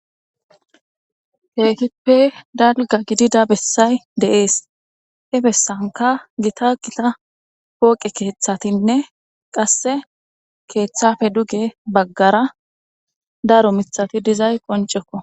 keehippe dalgga gidida bessay de7ees hee bessanka gita gita pooqe keeththatinne qasse keeththafe duge baggara daro mithati dizay qoncekko